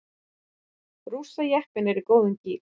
Rússajeppinn í góðum gír